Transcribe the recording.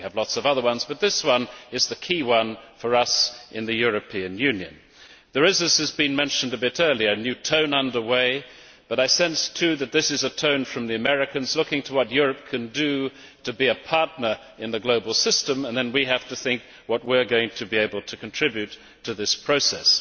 We have lots of other ones, but this one is the key one for us in the European Union. As was mentioned earlier, there is a new tone, but I sense too that this is a tone from the Americans looking to what Europe can do to be a partner in the global system and that we then have to think what we are going to be able to contribute to this process.